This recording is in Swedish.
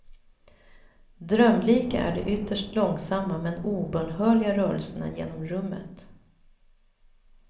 Drömlika är de ytterst långsamma men obönhörliga rörelserna genom rummet.